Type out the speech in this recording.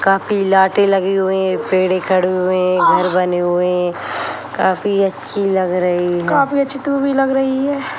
काफी लाटें लगी हुई है पेड़े खड़े हुए हैं घर बने हुए हैं काफी अच्छी लग रही है काफी अच्छी तू भी लग रही है।